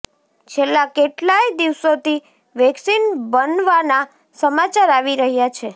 છેલ્લા કેટલાય દિવસોથી વેક્સિન બનવાના સમાચાર આવી રહ્યા છે